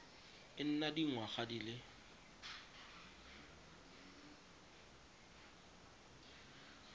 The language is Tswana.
e nna dingwaga di le